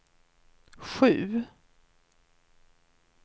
sju